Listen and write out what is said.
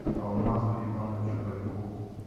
алмазу ивановичу полякову